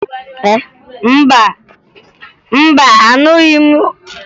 Mba, ahụghị m isi ewu nne m siri